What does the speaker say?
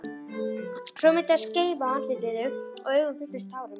Svo myndaðist skeifa á andlitinu og augun fylltust tárum.